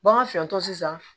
Bagan fɛn tɔ sisan